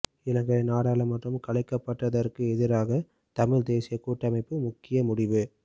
இலங்கை நாடாளுமன்றம் கலைக்கப்பட்டதற்கு எதிராக தமிழ் தேசிய கூட்டமைப்பு முக்கிய முடிவு